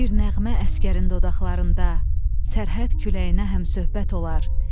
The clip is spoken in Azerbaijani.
Bir nəğmə əsgərin dodaqlarında, sərhəd küləyinə həmsöhbət olar.